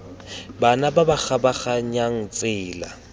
bana ba ba kgabaganyang tsela